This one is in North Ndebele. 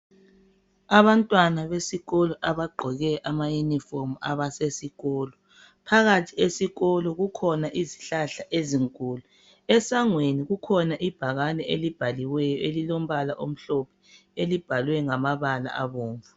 Abantwana besikolo abagqoke amayunifomu abasesikolo. Phakathi esikolo kukhona izihlahla ezinkulu. Esangweni kukhona ibhakane elibhaliweyo elilombala omhlophe elibhalwe ngamabala abomvu.